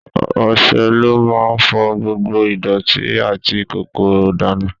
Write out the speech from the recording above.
Ọṣẹ ló má ń fọ gbogbo ìdọ̀tí àti kòkòrò dànù